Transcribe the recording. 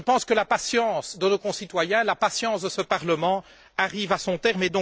Je pense que la patience de nos concitoyens, la patience de ce Parlement arrive à son terme.